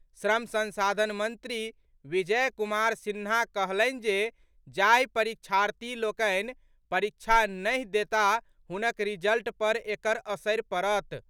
श्रम संसाधन मंत्री विजय कुमार सिन्हा कहलनि जे जाहि परीक्षार्थी लोकनि परीक्षा नहि देताह हुनक रिजल्ट पर एकर असरि पड़त।